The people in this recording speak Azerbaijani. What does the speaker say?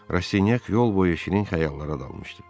Rastinyak yol boyu şirin xəyallara dalmışdı.